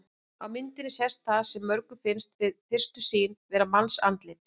Á myndinni sést það sem mörgum finnst við fyrstu sýn vera mannsandlit.